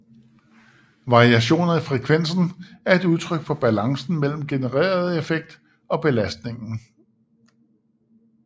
Variationer i frekvensen er et udtryk for balancen mellem genereret effekt og belastningen